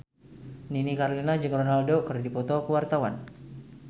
Nini Carlina jeung Ronaldo keur dipoto ku wartawan